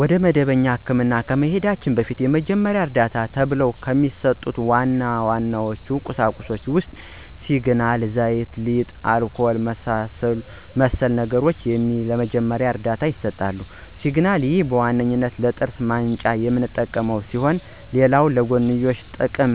ወደ መደበኛ ህክምና ከመሂዳችን በፊት የመጀመሪያ ዕርዳታ ተብሎው ከሚሰጡ ዋና ዋና ቁሳቁሶች ውስጥ ሲግናል፣ ዘይት፣ ሊጥ፣ አልኮል እና መሰል ነገሮች ለመጀመሪያ ዕርዳታ ይሰጣሉ። ፩) ሲግናል፦ ይህ በዋነኛነት ለጥርስ ማንጫነት የምንጠቀምበት ሲሆን ሌላ ለጎንዮሽ ጥቅም